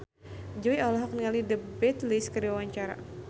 Jui olohok ningali The Beatles keur diwawancara